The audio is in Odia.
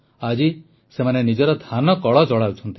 ଆଜି ସେମାନେ ନିଜର ଧାନକଳ ଚଳାଉଛନ୍ତି